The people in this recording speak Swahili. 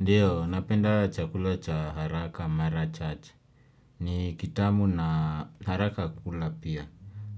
Ndiyo, napenda chakula cha haraka Mara Church. Ni kitamu na haraka kukula pia.